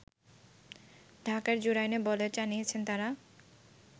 ঢাকার জুরাইনে বলে জানিয়েছে তারা